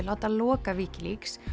láta loka Wikileaks